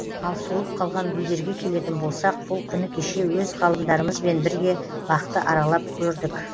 ал солып қалған гүлдерге келетін болсақ бұл күні кеше өз ғалымдарымызбен бірге бақты аралап көрдік